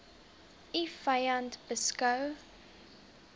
u vyand beskou